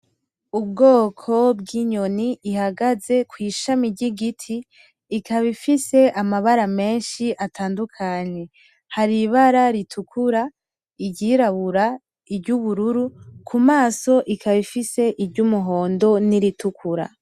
Ubwoko bw'inyoni ihagaze kw'ishami ry'igiti, ikaba ifise amabara menshi atandukanye, hari ibara ritukura iryirabura, iry'ubururu. Kumaso ikaba ifise iry'umuhondo niritukura.